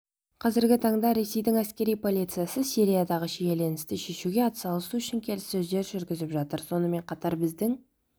қазіргі таңда ресейдің әскери полициясы сириядағы шиеленісті шешуге атсалысу үшін келіссөздер жүргізіп жатыр сонымен қатар біздің